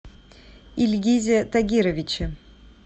ильгизе тагировиче